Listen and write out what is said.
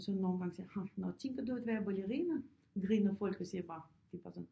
Og så nogle gange siger ha nå tænker du at være ballerina griner folk og siger bare det er bare sådan